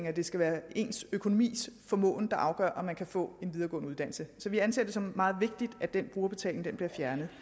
at det skal være ens økonomiske formåen der afgør om man kan få en videregående uddannelse så vi anser det som meget vigtigt at den brugerbetaling bliver fjernet